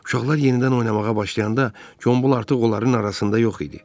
Uşaqlar yenidən oynamağa başlayanda, Gombul artıq onların arasında yox idi.